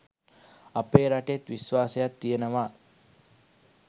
අපේ රටෙත් විශ්වාසයක් තියෙනවා